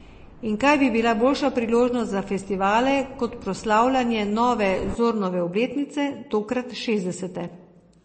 In kaj bi bila boljša priložnost za festivale kot proslavljanje nove Zornove obletnice, tokrat šestdesete?